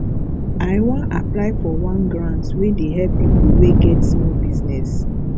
i wan apply for one grant wey dey help pipo wey get small business